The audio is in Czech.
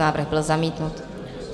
Návrh byl zamítnut.